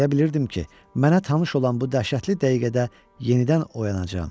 Elə bilirdim ki, mənə tanış olan bu dəhşətli dəqiqədə yenidən oyanacam.